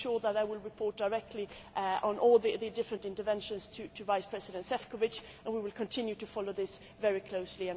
You can be sure that I will report directly on all the different interventions to Vice President Šefčovič, and we will continue to follow this very closely.